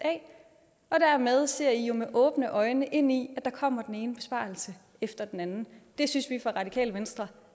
af dermed ser la jo med åbne øjne ind i at der kommer den ene besparelse efter den anden det synes vi fra radikale venstres